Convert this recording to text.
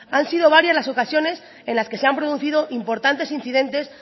han sido varias las ocasiones en las que se han producido importantes incidentes